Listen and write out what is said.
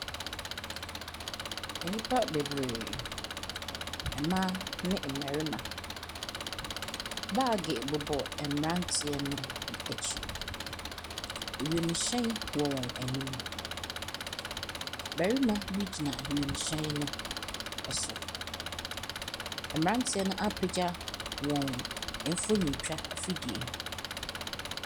Nnipa bebree. Mmaa ne mmarima. Bage bobɔ mmranteɛ no bi akyi. Ewiemhyɛn wɔ wɔn anim. Barima bi gyina wiemhyɛnno so. Mmranteɛ noapagya wɔn mfonyintwa afidie.